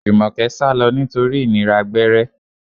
Jumoke sálọ nítorí ìnira gbẹ́rẹ́.